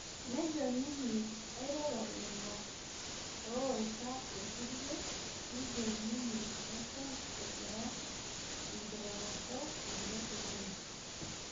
Nejo ninye airoro lelo owaita irkulie nijo ninye eton egira enkiroroto alo dukuya